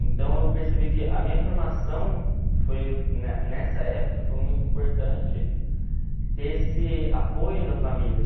Então eu percebi que a minha formação, foi ne nessa época, foi muito importante ter esse apoio da família.